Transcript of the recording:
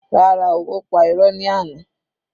Rárá, ó pa irọ́ ní àná.